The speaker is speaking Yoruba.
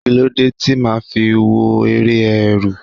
Kíló dé tí màá fi wo eré Ẹ̀rù?